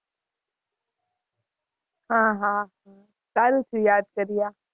હાં હાં સારું થયું યાદ કર્યા.